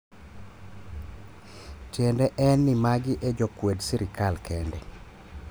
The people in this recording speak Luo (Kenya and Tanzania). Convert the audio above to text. tiende en ni magi e jo kwed sirikal kende